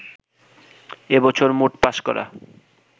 এ বছর মোট পাস করা